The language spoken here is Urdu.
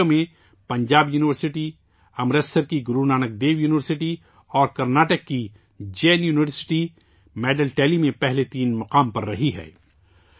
ان کھیلوں میں پنجاب یونیورسٹی، امرتسر کی گرو نانک دیو یونیورسٹی اور کرناٹک کی جین یونیورسٹی ، تمغوں کی تعداد میں پہلے تین مقامات پر رہی ہیں